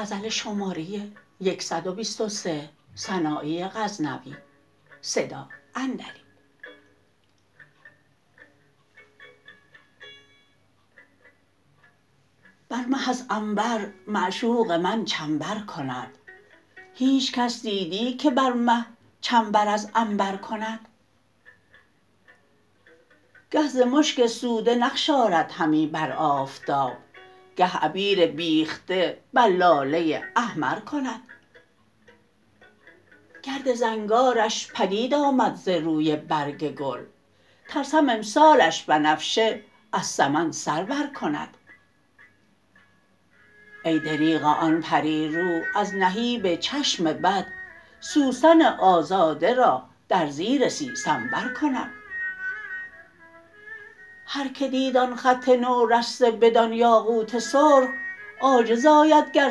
بر مه از عنبر معشوق من چنبر کند هیچ کس دیدی که بر مه چنبر از عنبر کند گه ز مشک سوده نقش آرد همی بر آفتاب گه عبیر بیخته بر لاله احمر کند گرد زنگارش پدید آمد ز روی برگ گل ترسم امسالش بنفشه از سمن سر بر کند ای دریغا آن پری رو از نهیب چشم بد سوسن آزاده را در زیر سیسنبر کند هر که دید آن خط نورسته بدان یاقوت سرخ عاجز آید گر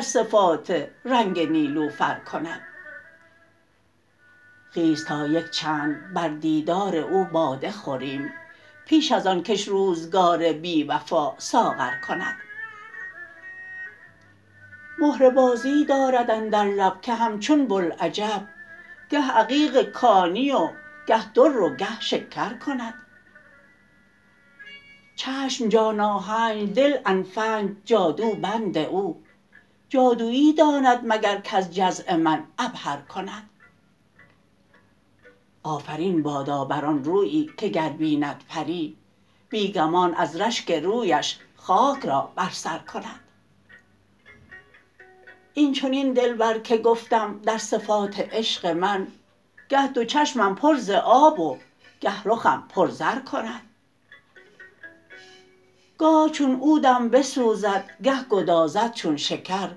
صفات رنگ نیلوفر کند خیز تا یک چند بر دیدار او باده خوریم پیش از آن کش روزگار بی وفا ساغر کند مهره بازی دارد اندر لب که همچون بلعجب گه عقیق کانی و گه در و گه شکر کند چشم جان آهنج دل الفنج جادو بند او جادویی داند مگر کز جزع من عبهر کند آفرین بادا بر آن رویی که گر بیند پری بی گمان از رشک رویش خاک را بر سر کند این چنین دلبر که گفتم در صفات عشق من گه دو چشمم پر ز آب و گه رخم پر زر کند گاه چون عودم بسوزد گه گدازد چون شکر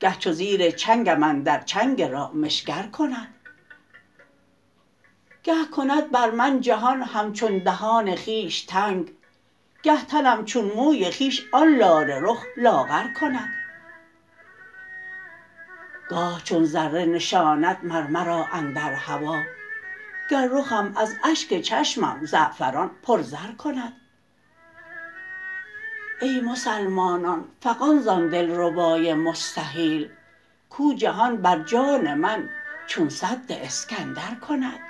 گه چو زیر چنگم اندر چنگ رامشگر کند گه کند بر من جهان همچون دهان خویش تنگ گه تنم چون موی خویش آن لاله رخ لاغر کند گاه چون ذره نشاند مر مرا اندر هوا گه رخم از اشک چشمم زعفران پر زر کند ای مسلمانان فغان زان دلربای مستحیل کو جهان بر جان من چون سد اسکندر کند